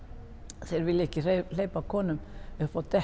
þeir vilja ekki hleypa konum upp á dekk